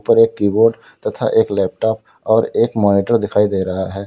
और एक कीबोर्ड तथा एक लैपटॉप और मॉनिटर दिखाई दे रहा है।